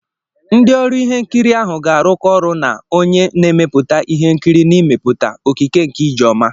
Ndị ọru ihe nkiri ahụ ga-arụkọ ọrụ na onye na-emepụta ihe nkiri n'ime pụta "okike nke Ijeoma."